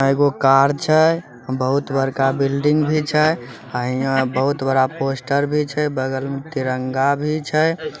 एगो कार छै बहुत बड़का बिल्डिंग भी छै अ इहाँ बहुत बड़ा पोस्टर भी छै बगल में तिरंगा भी छै।